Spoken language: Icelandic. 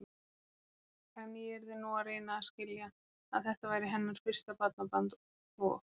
En ég yrði nú að reyna að skilja, að þetta væri hennar fyrsta barnabarn og.